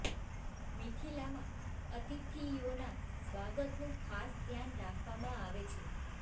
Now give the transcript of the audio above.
મિથિલામાં અતિથિયોના સ્વાગતનું ખાસ ધ્યાન રાખવામાં આવે છે